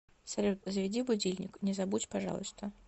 салют заведи будильник не забудь пожалуйста